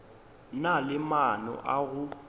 na le maano a go